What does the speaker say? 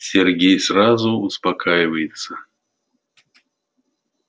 сергей сразу успокаивается